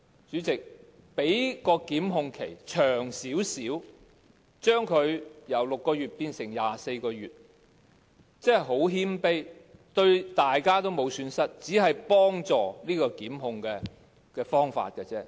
主席，把檢控限期由6個月稍為延長至24個月，只是很謙卑的要求，對大家也沒有損失，只是一個幫助檢控的方法。